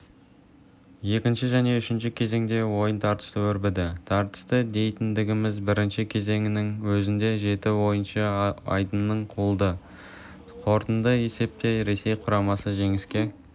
екінші және үшінші кезеңдерде ойын тартысты өрбіді тартысты дейтініміз бірінші кезеңнің өзінде жеті ойыншы айдыннан қуылды қорытынды есепте ресей құрамасы жеңіске